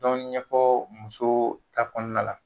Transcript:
Dɔɔnin ɲɛfɔ musow ta kɔnɔna la